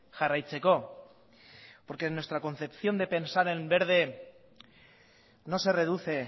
jarraitzeko porque en nuestra concepción de pensar en verde no se reduce